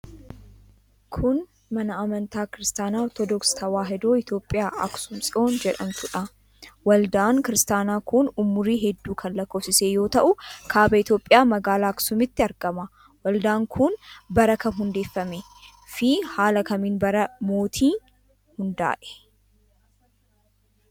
Kun, mana amantaa Kiristaaba, Ortodooksii Tawaahidoo Itoophiyaa Aksuum Tsiyoon jedhamtuudha. Waldaan Kiristaanaa kun, umurii hedduu kan lakkoofsise yoo ta'u ,kaaba Itoophiyaa magaalaa Aksuumitti argama. Waldaan kun bara kam hundeeffame fi haala kamiin bara mootii hundaa'ee?